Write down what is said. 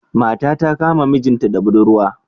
Mata ta Kama mijinta da buɗurwa.